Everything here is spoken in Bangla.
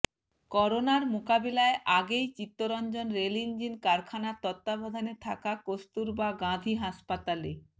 করোনার মোকাবিলায় আগেই চিত্তরঞ্জন রেল ইঞ্জিন কারখানার তত্ত্বাবধানে থাকা কস্তুরবা গাঁধী হাসপাতালে